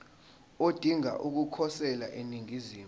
odinga ukukhosela eningizimu